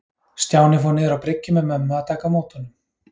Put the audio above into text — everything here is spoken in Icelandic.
Stjáni fór niður á bryggju með mömmu að taka á móti honum.